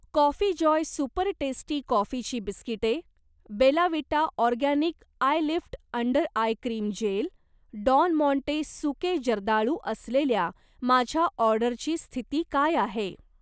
coffee Joy super tasty कॉफीची बिस्किटे, Bella Vita organic eye lift under eye cream gel, Don Monte सुके जर्दाळू असलेल्या माझ्या ऑर्डरची स्थिती काय आहे